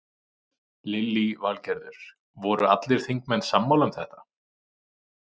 Lillý Valgerður: Voru allir þingmenn sammála um þetta?